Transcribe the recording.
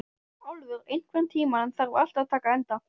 Álfur, einhvern tímann þarf allt að taka enda.